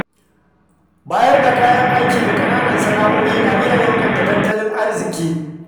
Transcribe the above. Bayar da kayan aiki ga ƙananan sana’o’i na iya inganta tattalin arziki.